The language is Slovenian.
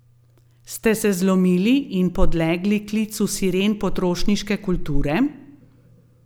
Ste se zlomili in podlegli klicu siren potrošniške kulture?